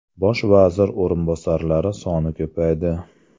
Bosh vazir o‘rinbosarlari soni ko‘paydi.